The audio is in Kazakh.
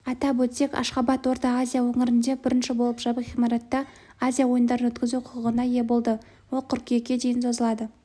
атап өтсек ашхабад ортаазия өңірінде бірінші болып жабық ғимаратта азия ойындарын өткізу құқығына ие болды ол қыркүйекке дейін созылады